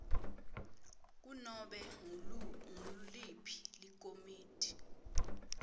kunobe nguliphi likomiti